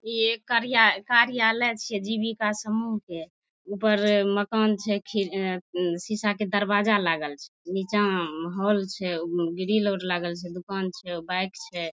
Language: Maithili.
इ एक कार्या कर्यालय छिये जिबिका समुह के ऊपर माकन छे खिर शीसा के दरवाजा लागल छे निचा हॉल छे उउ ग्रिल और लागल छे दुकान छे बाइक छे।